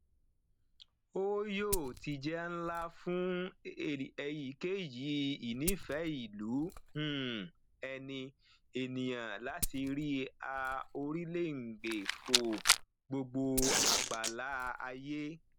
o yoo ti jẹ nla fun eyikeyi ìnífẹẹìlú um ẹni eniyan lati ri a orilẹngbe fò gbogbo agbala aye